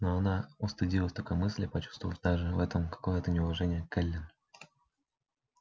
но она устыдилась такой мысли почувствовав даже в этом какое-то неуважение к эллин